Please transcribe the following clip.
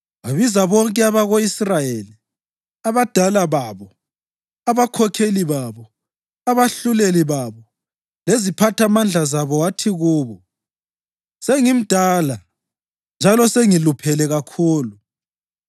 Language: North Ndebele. wabiza bonke abako-Israyeli, abadala babo, abakhokheli babo, abahluleli babo leziphathamandla zabo wathi kubo: “Sengimdala njalo sengiluphele kakhulu.